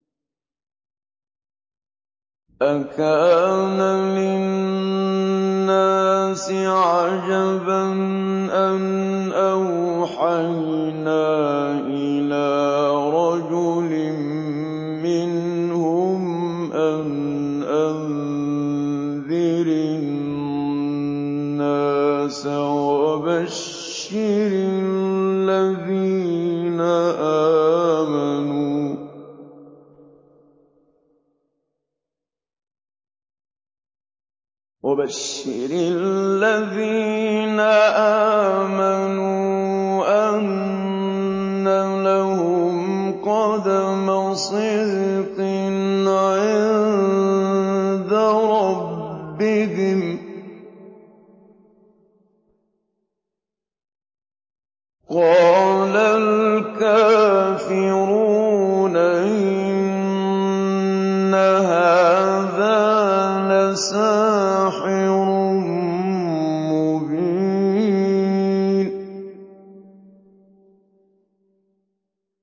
أَكَانَ لِلنَّاسِ عَجَبًا أَنْ أَوْحَيْنَا إِلَىٰ رَجُلٍ مِّنْهُمْ أَنْ أَنذِرِ النَّاسَ وَبَشِّرِ الَّذِينَ آمَنُوا أَنَّ لَهُمْ قَدَمَ صِدْقٍ عِندَ رَبِّهِمْ ۗ قَالَ الْكَافِرُونَ إِنَّ هَٰذَا لَسَاحِرٌ مُّبِينٌ